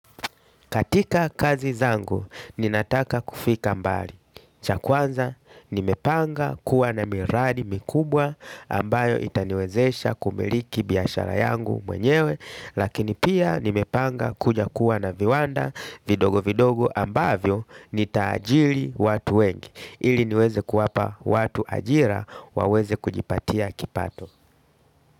Katika kazi zangu, ninataka kufika mbali. Cha kwanza nimepanga kuwa na miradi mikubwa ambayo itaniwezesha kumiliki biashara yangu mwenyewe. Lakini pia nimepanga kuja kuwa na viwanda vidogo vidogo ambavyo nitaajiri watu wengi ili niweze kuwapa watu ajira waweze kujipatia kipato.